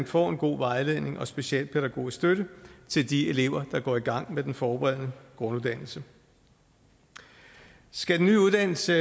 får en god vejledning og specialpædagogisk støtte til de elever der går i gang med den forberedende grunduddannelse skal den nye uddannelse